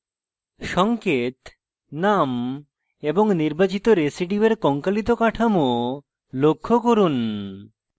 সঙ্কেত name এবং নির্বাচিত রেসিডিউয়ের কঙ্কালিত কাঠামো লক্ষ্য করুন